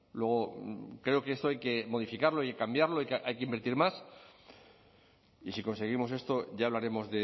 luego creo que esto hay que modificarlo y cambiarlo hay que invertir más y si conseguimos esto ya hablaremos